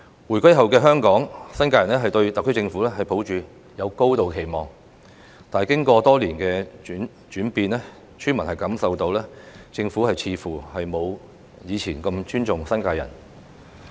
回歸後的香港，新界人對特區政府抱有高度期望，但經過多年的轉變，村民感受到政府似乎沒有以前那麼尊重新界人。